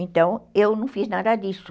Então, eu não fiz nada disso.